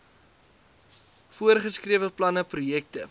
voorgeskrewe planne projekte